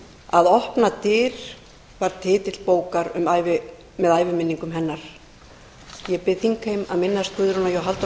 að opna dyr er titill bókar með æviminningum hennar ég bið þingheim að minnast guðrúnar j halldórsdóttur fyrrverandi alþingismanns með því að rísa úr sætum